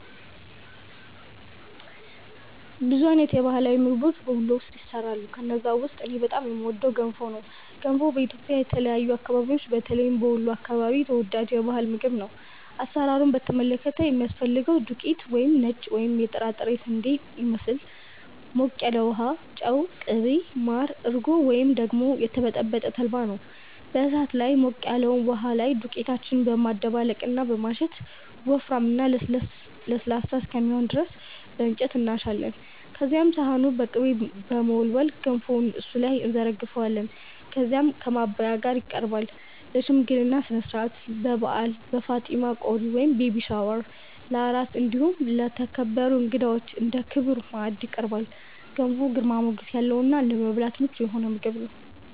ብዙ አይነት የባህላዊ ምግቦች በ ወሎ ውስጥ ይሰራሉ። ከነዛ ውስጥ እኔ በጣም የምወደው ገንፎ ነው። ገንፎ በኢትዮጵያ የተለያዩ አከባቢዎች በተለይም በ ወሎ አከባቢ ተወዳጅ የ ባህል ምግብ ነው። አሰራሩን በተመለከተ የሚያስፈልገን ዱቄት(ነጭ ወይም የጥራጥሬ ስንዴን ይመስል)፣ ሞቅ ያለ ውሃ፣ ጨው፣ ቅቤ፣ ማር፣ እርጎ ወይም ደግሞ የተበጠበጠ ተልባ ናቸው። በ እሳት ላይ ሞቅ ያለበት ውሃችን ላይ ዱቄታችንን በማደባለቅ እና በማሸት ወፍራም እና ለስላሳ እስከሚሆን ድረስ በ እንጨት እናሻለን። ከዚያም ሰሃኑን በ ቅቤ በመለወስ ገንፎውን እሱ ላይ እንዘረግፈዋለን። ከዚያም ከ ማባያው ጋ ይቀርባል። ለ ሽምግልና ስነስርዓት፣ በ በዓል፣ በ ፋጢማ ቆሪ(ቤቢ ሻወር) ፣ለ አራስ እንዲሁም ለተከበሩ እንግዳዎች እንደ ክቡር ማዕድ ይቀርባል። ገንፎ ግርማ ሞገስ ያለው እና ለመብላት ምቹ የሆነ ምግብ ነው።